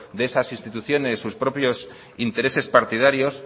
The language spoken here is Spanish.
de esas instituciones sus propios intereses partidarios